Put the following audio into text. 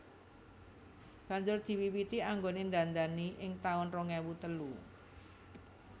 Banjur diwiwiti anggone ndandani ing taun rong ewu telu